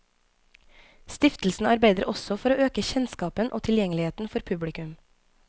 Stiftelsen arbeider også for å øke kjennskapen og tilgjengeligheten for publikum.